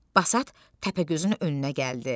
Basat Təpəgözün önünə gəldi.